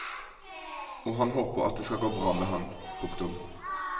Og han håper at det skal gå bra med han. punktum